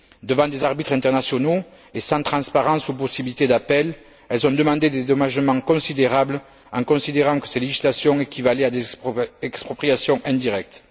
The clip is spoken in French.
Devant des arbitres internationaux et sans transparence ou possibilité d'appel, elles ont demandé des dédommagements considérables en considérant que ces législations équivalaient à des expropriations indirectes.